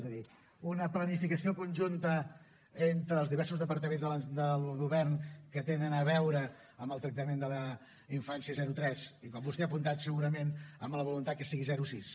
és a dir una planificació conjunta entre els diversos departaments del govern que tenen a veure amb el tractament de la infància zero tres i com vostè ha apuntat segurament amb la voluntat que sigui zero sis